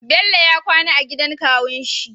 Bello wa kwAna ya gidan kawun shi